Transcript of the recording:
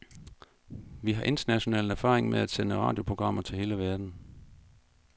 Vi har international erfaring med at sende radioprogrammer til hele verden.